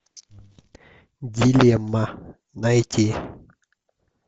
дилемма найти